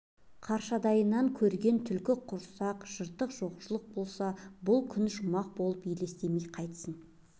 қаршадайынан көрген түлкі құрсақ жыртық жоқшылық болса бұл күні ұжымақ болып елестемей қайтсін